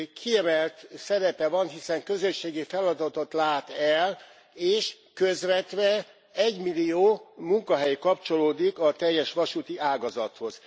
Kiemelt szerepe van, hiszen közösségi feladatot lát el, és közvetve egymillió munkahely kapcsolódik a teljes vasúti ágazathoz.